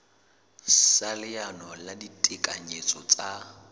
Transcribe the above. sa leano la ditekanyetso tsa